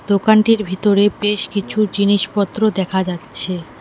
দোকানটির ভিতরে বেশ কিছু জিনিসপত্র দেখা যাচ্ছে।